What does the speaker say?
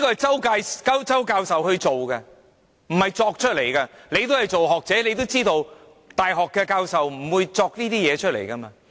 這是周教授的研究，不是胡謅出來，局長也是學者，也知道大學教授不會胡謅這些事情。